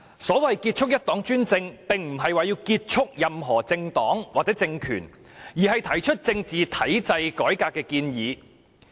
所謂"結束一黨專政"，並非旨在結束任何政黨或政權，而是就政治體制改革提出建議。